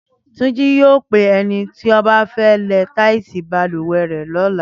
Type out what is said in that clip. Túnjí yóò pe ẹni tí á ba lẹ táìsì balùwẹ̀ rẹ̀ lọ́la